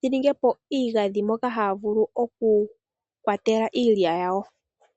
dhiningepo iigadhi moka haya vulu okukwatela iilya yawo.